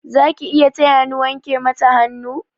Zaki iya taya ni wanke mata hannu?